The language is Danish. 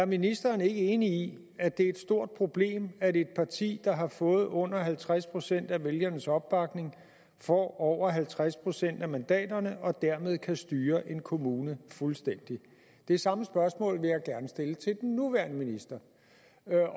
er ministeren ikke enig i at det er et stort problem at et parti der har fået under halvtreds procent af vælgernes opbakning får over halvtreds procent af mandaterne og dermed kan styre en kommune fuldstændigt det samme spørgsmål vil jeg gerne stille til den nuværende minister